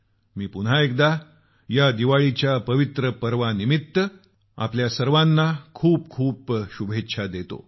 मी पुन्हा एकदा या दीपावलीच्या पवित्र पर्वासाठी आपल्याला खूप खूप शुभेच्छा देतो